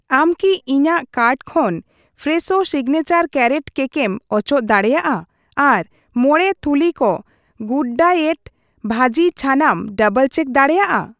ᱟᱢ ᱠᱤ ᱤᱧᱟᱹᱜ ᱠᱟᱨᱴ ᱠᱷᱚᱱ ᱯᱷᱨᱮᱥᱳ ᱥᱤᱜᱽᱱᱮᱪᱟᱨ ᱠᱮᱨᱨᱚᱴ ᱠᱮᱠ ᱮᱢ ᱚᱪᱚᱜ ᱫᱟᱲᱮᱭᱟᱜᱼᱟ ᱟᱨ ᱢᱚᱬᱮ ᱛᱷᱩᱞᱤ ᱠᱚ ᱜᱩᱰᱰᱟᱭᱮᱴ ᱵᱷᱟᱹᱡᱤ ᱪᱷᱟᱱᱟᱢ ᱰᱟᱵᱚᱞᱼᱪᱮᱠ ᱫᱟᱲᱮᱭᱟᱜᱼᱟ ᱾